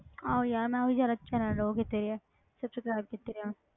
ਆਹੋ ਯਾਰ ਮੈਂ ਉਹੀ ਜ਼ਿਆਦਾ channel ਉਹ ਕੀਤੇ ਹੋਏ ਆ subscribe ਕੀਤੇ ਆ,